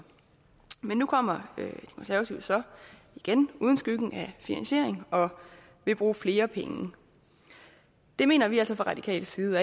men nu kommer de konservative så igen uden skyggen af finansiering og vil bruge flere penge det mener vi altså fra radikal side